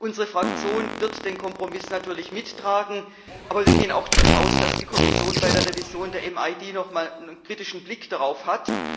Unsere Fraktion wird den Kompromiss natürlich mittragen, aber wir gehen auch davon aus, dass die Kommission bei der Revision der MID noch einmal einen kritischen Blick darauf hat.